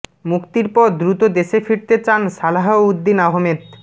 মুক্তির পর দ্রুত দেশে ফিরতে চান সালাহ উদ্দিন আহমেদ